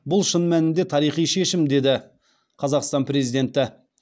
бұл шын мәнінде тарихи шешім деді қазақстан президенті